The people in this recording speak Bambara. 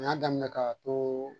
U y'a daminɛ k'a to